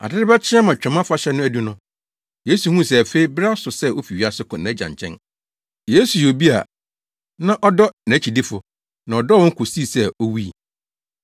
Ade rebɛkye ama Twam Afahyɛ no adu no, Yesu huu sɛ afei bere aso sɛ ofi wiase kɔ nʼAgya nkyɛn. Yesu yɛ obi a na ɔdɔ nʼakyidifo, na ɔdɔɔ wɔn kosii sɛ owui.